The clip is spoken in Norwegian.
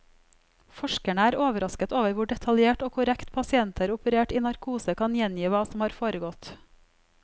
Forskerne er overrasket over hvor detaljert og korrekt pasienter operert i narkose kan gjengi hva som har foregått.